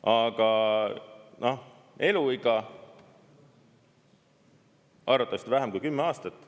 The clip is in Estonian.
Aga noh, eluiga: arvatavasti vähem kui 10 aastat.